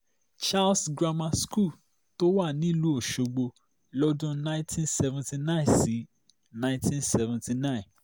charles grammar school tó wà nílùú ọ̀ṣọ́gbó lọ́dún nineteen seventy nine sí nineteen seventy nine